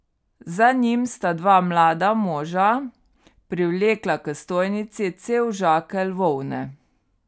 Za njim sta dva mlada moža privlekla k stojnici cel žakelj volne.